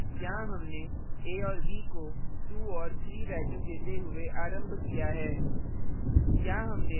यहाँ हमने a और b को 2 और 3 values देते हुए आरम्भ किया है